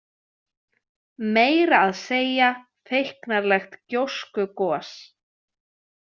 Meira að segja feiknarleg gjóskugos.